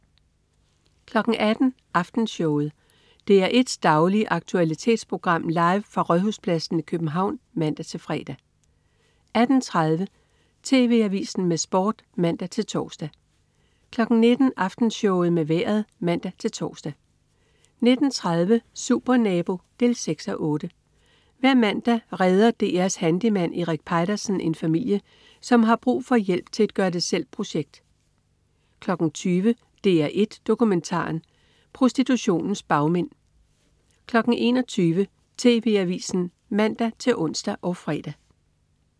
18.00 Aftenshowet. DR1s daglige aktualitetsprogram, live fra Rådhuspladsen i København (man-fre) 18.30 TV Avisen med Sport (man-tors) 19.00 Aftenshowet med Vejret (man-tors) 19.30 Supernabo 6:8. Hver mandag redder DR's handyman Erik Peitersen en familie, som har brug for hjælp til et gør det selv-projekt 20.00 DR1 Dokumentaren. Prostitutionens bagmænd 21.00 TV Avisen (man-ons og fre)